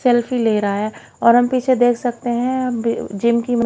selfie ले रहा है और हम पीछे देख सकते हैं अब जिम की--